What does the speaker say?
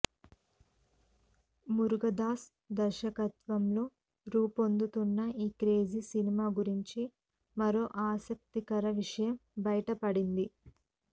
మురుగదాస్ దర్శకత్వంలో రూపొందుతున్న ఈ క్రేజీ సినిమా గురించి మరో ఆసక్తికర విషయం బయటపడింది